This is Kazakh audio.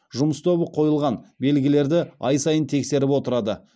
жұмыс тобы қойылған белгілерді ай сайын тексеріп отырады